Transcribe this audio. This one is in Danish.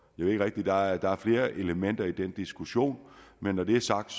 ved ikke rigtig der er flere elementer i den diskussion men når det er sagt